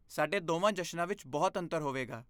ਸਾਡੇ ਦੋਵਾਂ ਜਸ਼ਨਾਂ ਵਿੱਚ ਬਹੁਤ ਅੰਤਰ ਹੋਵੇਗਾ।